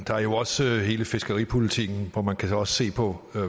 der er også hele fiskeripolitikken hvor man kan se på